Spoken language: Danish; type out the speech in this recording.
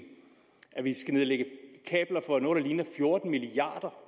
at vi skal nedlægge kabler for noget der ligner fjorten milliard